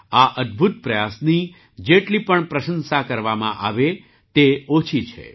આ અદ્ભુત પ્રયાસની જેટલી પણ પ્રશંસા કરવામાં આવે તે ઓછી છે